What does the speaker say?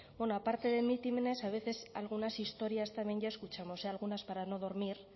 bueno aparte de mítines a veces algunas historias también ya escuchamos algunas para no dormir